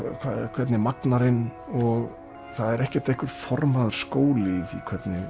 hvernig magnarinn og það er ekki formaður skóli í því